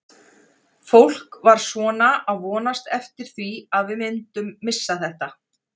Fólk var svona að vonast eftir því að við myndum missa þetta.